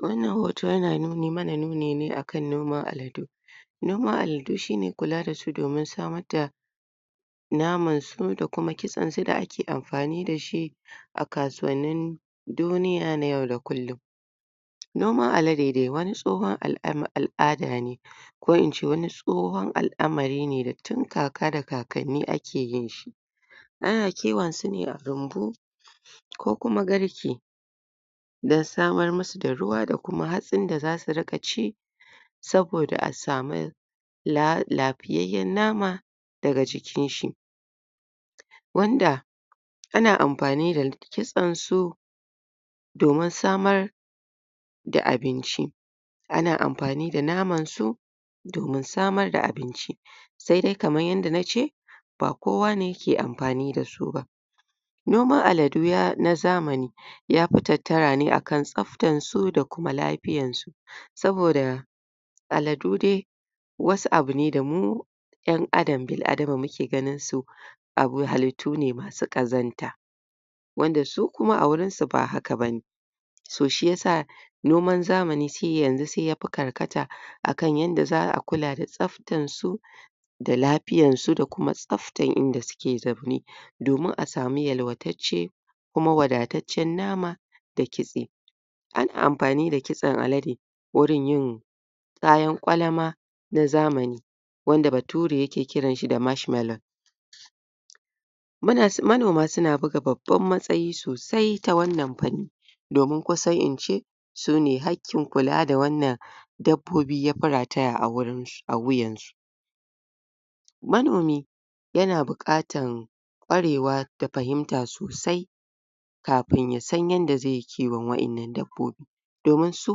wannan hoto yana mana nuni ne akan noman aladu noman aladu shine kula dasu domin samarda na mansu da kuma kitsansu da ake amfani dashi akasuwannin duniya na yau da kullun noman alade dai wani tsoho al'ada ne ko ince wani tshon al'amarine da tin kaka da kakanni ake yinshi ana kiwonsune a rumbu ko kuma garke da samar musu da ruwa da kuma hatsin da zasu ci saboda asamu lafiyanyan nama daga jikinshi wanda ana amfani da kitsansu domin samar da abinci ana amfani da naman su domin samar da abinci sedai kaman yanda nace ba kowane yake amfani da suba noma aladu na zamani yafi tattara ne akan tsaftansu da kuma lafiyan su saboda aladu dai wasu abu ne da mu yan adam bil adama da muke ganinsu abu halittune masu ƙazanta wanda su kuma agurinsu ba haka bane so shiyasa noman zamani yanzu yafi karkata akan yanda za a kula da tsaftan su da lafiyansu da kuma tsaftan inda suke zaune domin asamu yalwa tacce kuma wada taccen nama da kitse ana amfani da kitsan alade wurin yin kayan gwalama na zamani wanda ba ture yake kiranshi da mashmalon manoma suna buga babban matsayi so sai ta wannan fanin domin kusan ince sune hakkin kula da wannan dabbobi yafi rataya a wurun a wiyansu manomi yana buƙatan kwarewa da fahimta sosai kafin yasan yanda zeyi kiwon wayannan dabobi domin su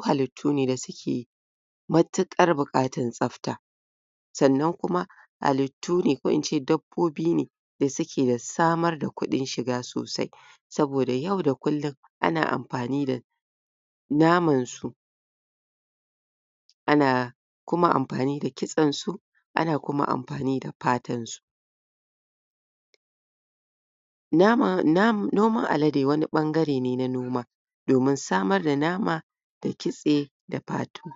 halit tu ne da suke matuƙar buƙatar tsafta sannan kuma halittune ko ince dabbobine da suke da samar da kuɗin shiga sosai saboda yau da kullin ana amfani da naman su ana kuma amfani da kitsan su ana kukma amfani da fatan su nama noman alade wani ɓangare ne na noma domin samar da nama da kitse da fatu